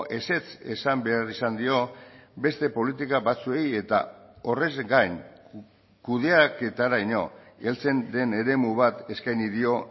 ezetz esan behar izan dio beste politika batzuei eta horrez gain kudeaketaraino heltzen den eremu bat eskaini dio